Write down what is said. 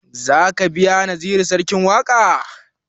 Za ka biya naziru sarkin waƙa?